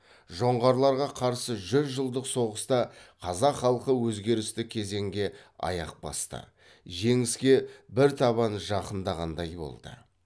жоңғарларға қарсы жүз жылдық соғыста қазақ халқы өзгерісті кезеңге аяқ басты жеңіске бір табан жақындағандай болды